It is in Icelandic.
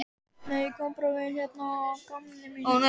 Nei, ég kom bara við hérna að gamni mínu.